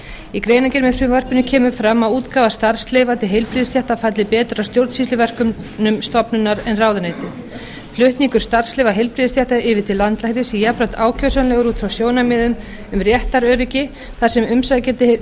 í greinargerð með frumvarpinu kemur fram að útgáfa starfsleyfa til heilbrigðisstétta falli betur að stjórnsýsluverkefnum stofnunar en ráðuneytis flutningur starfsleyfa heilbrigðisstétta yfir til landlæknis sé jafnframt ákjósanlegur út frá sjónarmiðum um réttaröryggi þar sem umsækjandi